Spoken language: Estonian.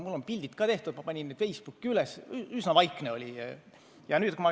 Mul on pildid ka tehtud, ma panin need Facebooki üles – üsna vaikne oli.